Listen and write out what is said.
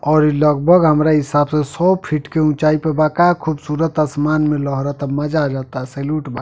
ओर लगभग हमरा हिसाब से सौ फीट की ऊंचाई पे बा। का खूबसूरत आसमान मे लहरता। मजा आ जाता। सैलूट बा।